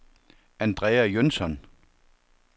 Andrea Jønsson